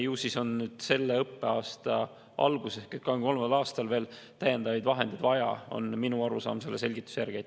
Ju siis on selle õppeaasta alguses ehk 2023. aastal veel täiendavaid vahendeid vaja, on minu arusaam selle selgituse järgi.